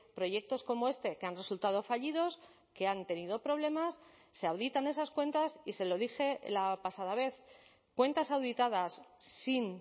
proyectos como este que han resultado fallidos que han tenido problemas se auditan esas cuentas y se lo dije la pasada vez cuentas auditadas sin